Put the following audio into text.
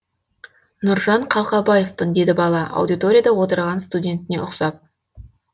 нұржан қалқабаевпын деді бала аудиторияда отырған студентіне ұқсап